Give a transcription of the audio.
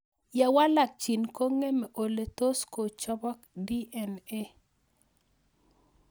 Ye walak gene kong'emei ole tos kochopok DNA